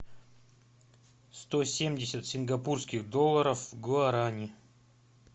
сто семьдесят сингапурских долларов в гуарани